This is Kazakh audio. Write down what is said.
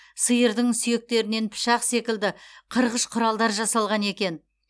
сиырдың сүйектерінен пышақ секілді қырғыш құралдар жасалған екен